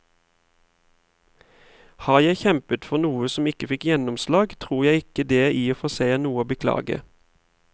Har jeg kjempet for noe som ikke fikk gjennomslag, tror jeg ikke det i og for seg er noe å beklage.